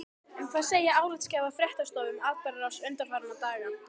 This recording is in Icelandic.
En hvað segja álitsgjafar fréttastofu um atburðarrás undanfarinna daga?